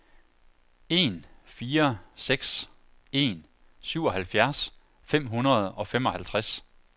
en fire seks en syvoghalvfjerds fem hundrede og femoghalvtreds